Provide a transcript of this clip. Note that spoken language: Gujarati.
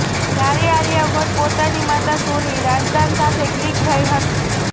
જ્યારે આલિયા ભટ્ટ પોતાની માતા સોની રાઝદાન સાથે ક્લીક થઈ હતી